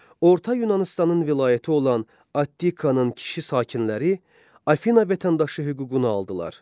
Orta Yunanıstanın vilayəti olan Attikanın kişi sakinləri Afina vətəndaşı hüququnu aldılar.